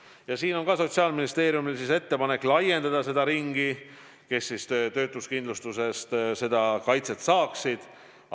Ja siin on samuti Sotsiaalministeeriumil ettepanek laiendada seda ringi, kes töötuskindlustusest kaitset saaksid.